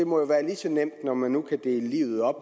må være lige så nemt når man nu kan dele livet op